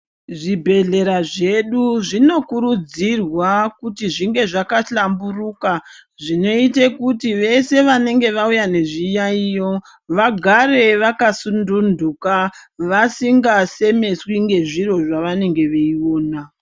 Zvibhedhlera zvedu zvinokurudzirwa kuti zvinge zvakahlamburuka. Zvinoite kuti veshe vanenge vauya nezviyaiyo vagare vakasununduka vasingasemeswi ngezviro zvavanenge veiona.